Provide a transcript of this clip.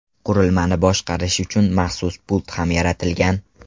Qurilmani boshqarish uchun maxsus pult ham yaratilgan.